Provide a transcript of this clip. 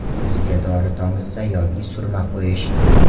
Ko‘ziga dori tomizsa yoki surma qo‘yish.